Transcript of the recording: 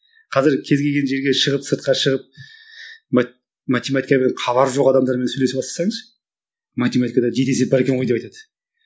қазір кез келген жерге шығып сыртқа шығып математикадан хабары жоқ адамдармен сөйлесе бастасаңыз математикада жеке есеп бар екен ғой деп айтады